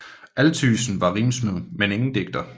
Althuysen var rimsmed men ingen digter